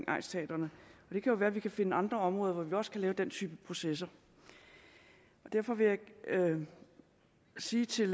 egnsteatrene det kan jo være vi kan finde andre områder hvor vi også kan lave den type processer derfor vil jeg sige til